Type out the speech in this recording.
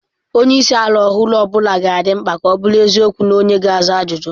Onye isi ala ọhụrụ ọ bụla ga-adị mkpa ka ọ bụrụ eziokwu na onye ga-aza ajụjụ.